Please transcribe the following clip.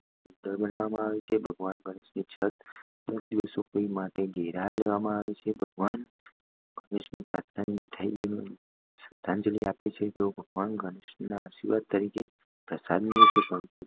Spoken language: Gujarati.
ગૃહોને સુંદર બનાવવામાં આવે છે અને ભગવાન ગણેશની છત્ર ભગવાન ગણેશને પ્રાર્થના અને મીઠાઈઓ આપીને શ્રદ્ધાંજલિ આપે છે અને ભગવાન ગણેશના આશીર્વાદ તરીકે પ્રસાદ